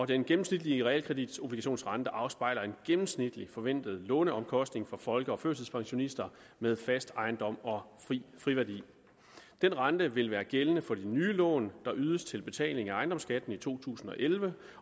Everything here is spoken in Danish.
den gennemsnitlige realkreditobligationsrente afspejler en gennemsnitlig forventet låneomkostning for folke og førtidspensionister med fast ejendom og friværdi den rente vil være gældende for de nye lån der ydes til betaling af ejendomsskatten i to tusind og elleve